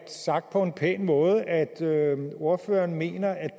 sagt på en pæn måde at ordføreren mener at